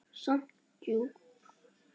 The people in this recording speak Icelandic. Samt djúp.